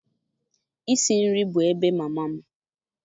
Isi nri bụ ebe mama m.